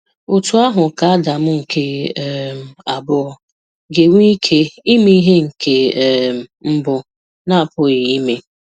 Otú ahụ ka Adam nke um abụọ ga-enwe ike ime ihe nke um mbụ na-apụghị um ime?